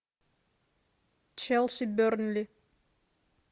челси бернли